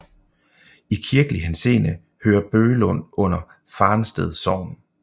I kirkelig henseende hører Bøglund under Farensted Sogn